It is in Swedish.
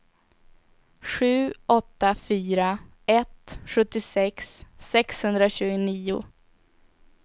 sju åtta fyra ett sjuttiosex sexhundratjugonio